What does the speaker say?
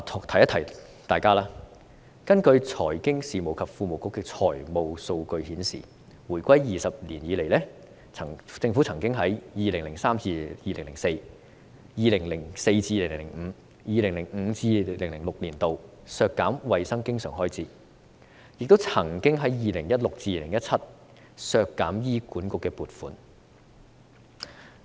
提一提大家，財經事務及庫務局的財務數據顯示，回歸20年來，政府曾在 2003-2004、2004-2005 及 2005-2006 年度削減衞生經常開支，亦曾在 2016-2017 年度削減醫管局的撥款。